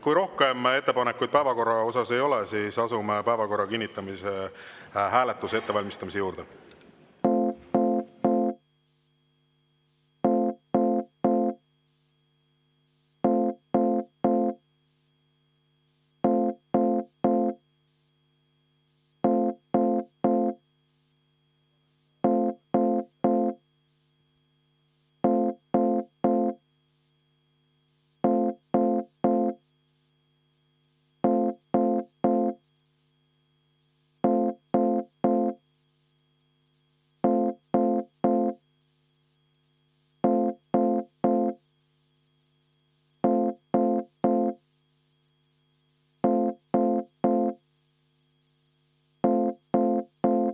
Kui rohkem ettepanekuid päevakorra kohta ei ole, siis asume päevakorra kinnitamise hääletuse ettevalmistamise juurde.